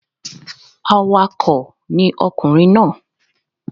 Awakọ̀ ni ọkùnrin náà.